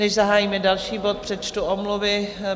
Než zahájíme další bod, přečtu omluvy.